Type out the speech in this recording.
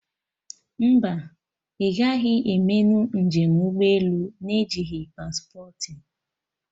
Mba, ị gaghị emenụ njem ụgbọ elu na-ejighị paspportị